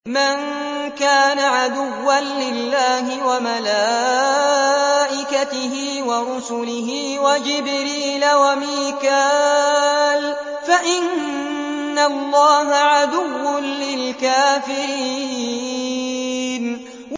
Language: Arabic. مَن كَانَ عَدُوًّا لِّلَّهِ وَمَلَائِكَتِهِ وَرُسُلِهِ وَجِبْرِيلَ وَمِيكَالَ فَإِنَّ اللَّهَ عَدُوٌّ لِّلْكَافِرِينَ